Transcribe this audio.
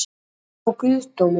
Traust á guðdóminn?